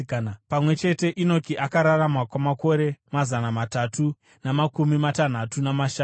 Pamwe chete, Enoki akararama kwamakore mazana matatu namakumi matanhatu namashanu.